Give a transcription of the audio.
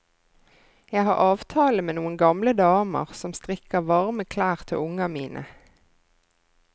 Jeg har avtale med noen gamle damer som strikker varme klær til unga mine.